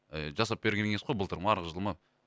ііі жасап берген екенсіз ғой былтыр ма арғы жыл ма